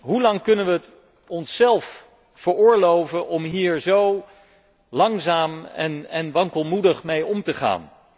Hoelang kunnen we het onszelf veroorloven om hier zo langzaam en wankelmoedig mee om te gaan?